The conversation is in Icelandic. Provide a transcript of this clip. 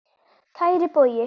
Kæri Bogi.